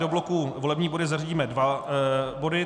Do bloku volební body zařadíme dva body.